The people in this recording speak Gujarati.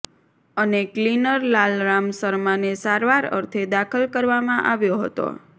અને ક્લીનર લાલરામ શર્માને સારવાર અર્થે દાખલ કરવામાં આવ્યો હતો